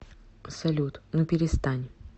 салют ну перестань